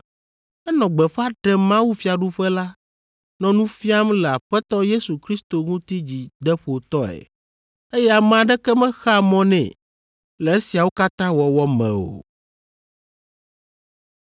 Enɔ gbeƒã ɖem mawufiaɖuƒe la, nɔ nu fiam le Aƒetɔ Yesu Kristo ŋuti dzideƒotɔe, eye ame aɖeke mexea mɔ nɛ le esiawo katã wɔwɔ me o.